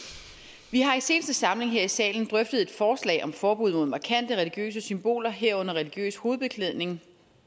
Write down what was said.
vi har i den seneste samling her i salen drøftet et forslag om forbud mod markante religiøse symboler herunder religiøs hovedbeklædning